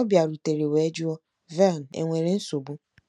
Ọ bịarutere wee jụọ, " Vern, enwere nsogbu ?"